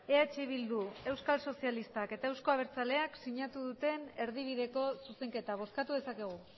eh bildu euskal sozialistak eta euzko abertzaleak sinatu duten erdibideko zuzenketa bozkatu dezakegu